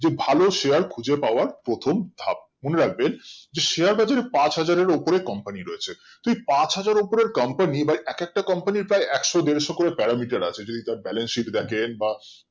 যে ভালো share খুঁজে পাওয়া প্রথম ধাপ মনে রাখেবন share বাজার পাঁচ হাজার এর উপরে company রয়েছে পাঁচ হাজারের company বা একটা একটা company এর প্রায় একশো দেড়শো করে প্যারামিটারে আছে যদি তর্ balance sheet দেখেন বা